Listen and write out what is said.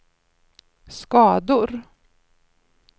skador